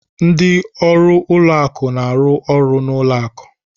Ndị ọrụ ụlọ akụ na-arụ ọrụ n'ụlọ akụ.